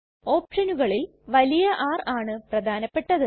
ഓപ്ഷനുകളിൽ വലിയ R ആണ് പ്രധാനപെട്ടത്